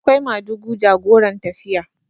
akwai madugu jagoran tafiya